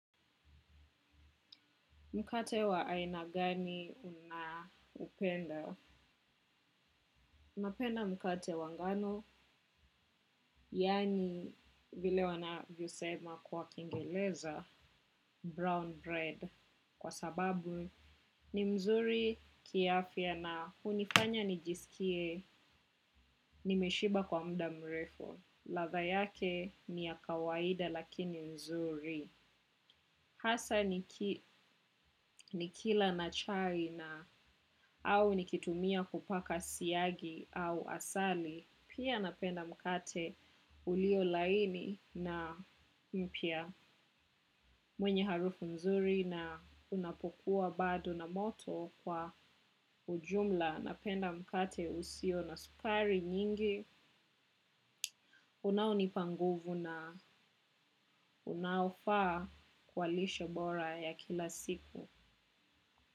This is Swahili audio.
Mkate wa aina gani unaupenda? Napenda mkate wa ngano, yaani vile wanavyosema kwa kiingereza brown bread. Kwa sababu ni mzuri kiafya na hunifanya nijisikie nimeshiba kwa muda mrefu. Ladha yake ni ya kawaida lakini nzuri. Hasa nikila na chai na au nikitumia kupaka siagi au asali, pia napenda mkate ulio laini na mpya mwenye harufu nzuri na unapokuwa bado na moto kwa ujumla. Napenda mkate usio na sukari nyingi, unaonipa nguvu na unaofaa kwa lishe bora ya kila siku.